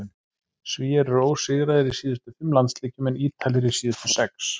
Svíar eru ósigraðir í síðustu fimm landsleikjum en Ítalir í síðustu sex.